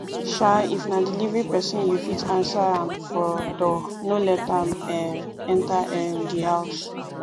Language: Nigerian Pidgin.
um if na delivery person you fit answer am for door no let am um enter um di house